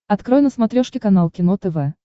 открой на смотрешке канал кино тв